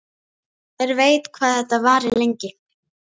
Hver veit hvað þetta varir lengi?